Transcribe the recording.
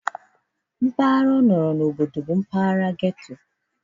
Mpaghara ọ nọrọ n'obodo bụ mpaghara ghetto